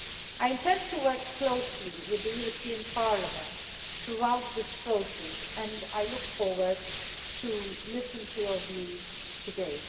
I intend to work closely with the European Parliament throughout this process and I look forward to listening to your views today.